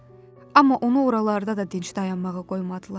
Amma onu oralarda da dinc dayanmağa qoymadılar.